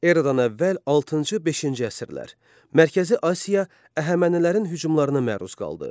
Eradan əvvəl altıncı-beşinci əsrlər Mərkəzi Asiya Əhəmənilərin hücumlarına məruz qaldı.